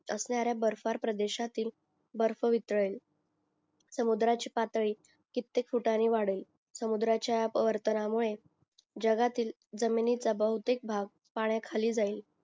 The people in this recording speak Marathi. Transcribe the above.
असणार्या बर्फ़ प्रदेशाततील बर्फ वितळेल समुदाराची पातळी कित्येक फुटाणे वाढेल समुधराच्या मुळे जगातील जमिनीचा बौदिक बाघ पाण्या खाली जाईल